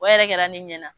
O yɛrɛ kɛra ne ɲɛna